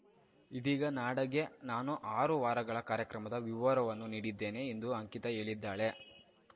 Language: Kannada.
ಇದೀಗ ನಡಗೆ ನಾನು ಆರು ವಾರಗಳ ಕಾರ್ಯಕ್ರಮದ ವಿವರವನ್ನು ನೀಡಿದ್ದೇನೆ ಎಂದು ಅಂಕಿತಾ ಹೇಳಿದ್ದಾಳೆ